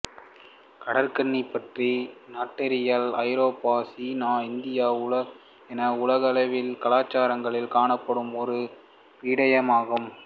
கடற்கன்னி பற்றிய நாட்டாரியல் ஐரோப்பா சீனா இந்தியா என உலகலாவிய கலாசாரங்களில் காணப்படும் ஓர் விடயமாகும்